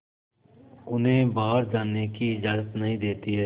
उन्हें बाहर जाने की इजाज़त नहीं देती है